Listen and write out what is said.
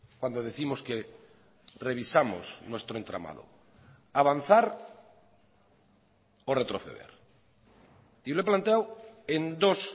cuando décimos que revisamos nuestro entramado avanzar o retroceder y lo he planteado en dos